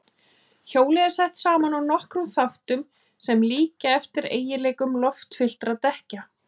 Hjólið er sett saman úr nokkrum þáttum sem líkja eftir eiginleikum loftfylltra dekkja.